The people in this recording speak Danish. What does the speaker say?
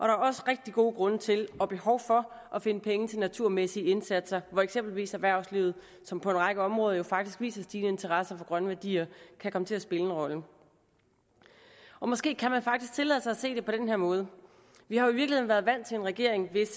er også rigtig gode grunde til og behov for at finde penge til naturmæssige indsatser hvor eksempelvis erhvervslivet som på en række områder jo faktisk viser en stigende interesse for grønne værdier kan komme til at spille en rolle måske kan man faktisk tillade sig at se det på den her måde vi har jo i virkeligheden været vant til en regering hvis